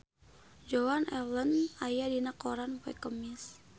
Joan Allen aya dina koran poe Kemis